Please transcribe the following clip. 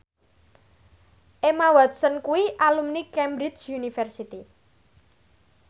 Emma Watson kuwi alumni Cambridge University